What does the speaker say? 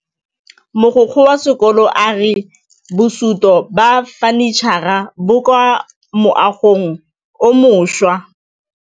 Mogokgo wa sekolo a re bosutô ba fanitšhara bo kwa moagong o mošwa.